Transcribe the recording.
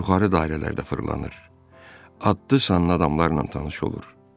Yuxarı dairələrdə fırlanır, adlı-sanlı adamlarla tanış olur.